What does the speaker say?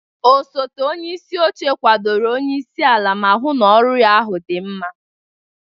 Osote onye isi oche kwadoro onye isi ala ma hụ na ọrụ ahụ dị mma.